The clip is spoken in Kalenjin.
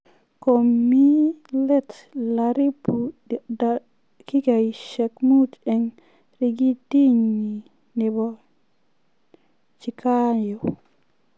Komii let laribu dakigaisyek muut eng rekidinyi nebo Chikago